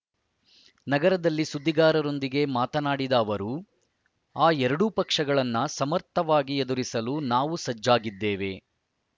ನಗರದಲ್ಲಿ ಸುದ್ದಿಗಾರರೊಂದಿಗೆ ಮಾತನಾಡಿದ ಅವರು ಆ ಎರಡೂ ಪಕ್ಷಗಳನ್ನು ಸಮರ್ಥವಾಗಿ ಎದುರಿಸಲು ನಾವು ಸಜ್ಜಾಗಿದ್ದೇವೆ